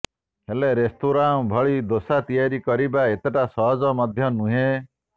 ହେଲେ ରେସ୍ତୋରାଁ ଭଳି ଦୋସା ତିଆରି କରିବା ଏତେଟା ସହଜ ମଧ୍ୟ ନୁହେଁ